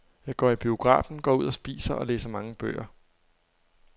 Jeg går i biografen, går ud og spiser og læser mange bøger.